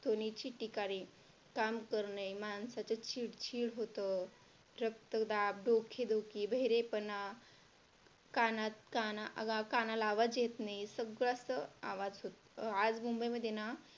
ध्वनीची टीका रे काम करणे माणसाचं चिडचिड होतं, रक्तदाब, डोकेदुखी, बहिरेपणा, कानात कानाला, आवाज येत नाही. सगळं सगळं आवाज होतं आज मुंबईमध्ये ना